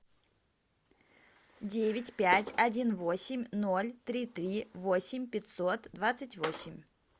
девять пять один восемь ноль три три восемь пятьсот двадцать восемь